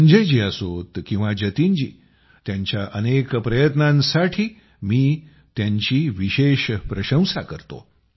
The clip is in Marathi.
संजय जी असोत किंवा जतिनजी त्यांच्या अनेक प्रयत्नांसाठी मी त्यांची विशेष प्रशंसा करतो